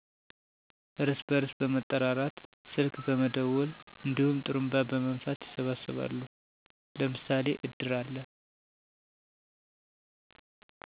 እርስ በርስ በመጠራራት ስልክ በመደወል እንዲሁም ጥሩንባ በመንፋት ይሰበሰባሉ። አለ ለምሳሌ እድር